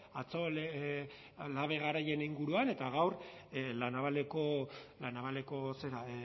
atzo labe garaien inguruan eta gaur la navaleko